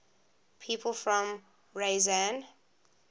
people from ryazan